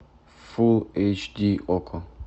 фулл эйч ди окко